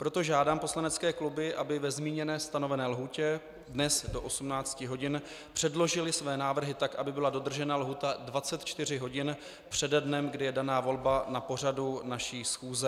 Proto žádám poslanecké kluby, aby ve zmíněné stanovené lhůtě dnes do 18 hodin předložily své návrhy tak, aby byla dodržena lhůta 24 hodin přede dnem, kdy je daná volba na pořadu naší schůze.